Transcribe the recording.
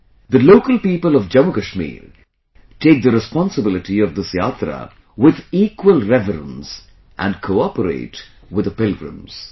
The local people of Jammu Kashmir take the responsibility of this Yatra with equal reverence, and cooperate with the pilgrims